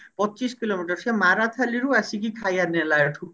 ପଚିଶି କିଲୋମିଟର ସେ ମାରାଥାଲି ରୁ ଆସିକି ଖାଇବା ନେଲା ଏଠୁ